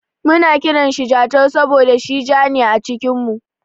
Muna kiranshi Jatau saboda shi ja ne a cikin mu.